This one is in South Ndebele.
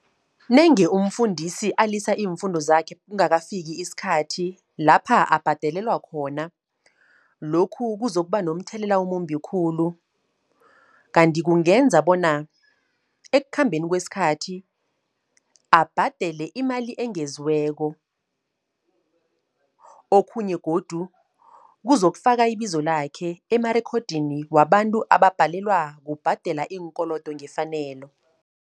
Nange umfundisi alisa iimfundo zakhe kungakafiki iskhathi lapha abhadalelwa khona. Lokhu kuzokuba nomthelela omumbi khulu, kanti kungenza bona ekukhambeni kweskhathi abhadele imali engeziweko. Okhunye godu, kuzokufaka ibizo lakhe emarekhodini wabantu ababhalelwa kubhadala iinkolodo ngefanelo.